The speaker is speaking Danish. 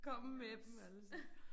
Kom med dem altså